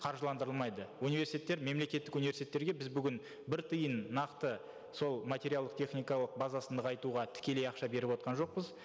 қаржыландырылмайды университеттер мемлекеттік университеттерге біз бүгін бір тиын нақты сол материалды техникалық базасын нығайтуға тікелей ақша беріп отырған жоқпыз